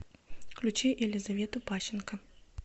включи елизавету пащенко